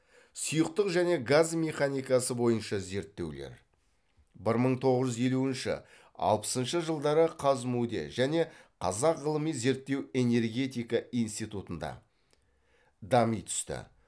сұйықтық және газ механикасы бойынша зерттеулер бір мың тоғыз жүз елуінші алпысыншы жылдары қазму де және қазақ ғылыми зерттеу энергетика институтында дами түсті